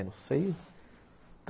É, não sei.